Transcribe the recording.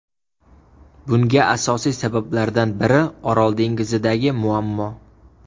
Bunga asosiy sabablardan biri Orol dengizidagi muammo.